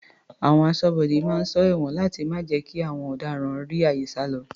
Àwọn aṣọ́bodè máa ń sọ ẹ̀wọ̀n láti má jẹ́ kí àwọn ọ̀daràn rí àyè sálọ.